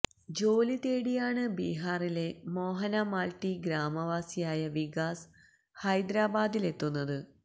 ജോലി തേടിയാണ് ബിഹാറിലെ മോഹന മാല്ട്ടി ഗ്രാമവാസിയായ വികാസ് ഹൈദരാബാദിലെത്തുന്നത്